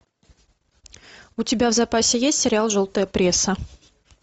у тебя в запасе есть сериал желтая пресса